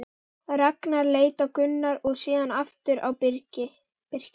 Ragnar leit á Gunnar og síðan aftur á Birki.